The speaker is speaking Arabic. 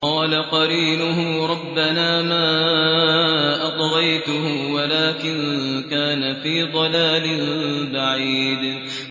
۞ قَالَ قَرِينُهُ رَبَّنَا مَا أَطْغَيْتُهُ وَلَٰكِن كَانَ فِي ضَلَالٍ بَعِيدٍ